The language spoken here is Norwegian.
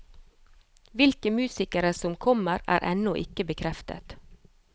Hvilke musikere som kommer, er ennå ikke bekreftet.